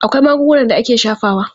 Akwai magungunan da ake shafawa.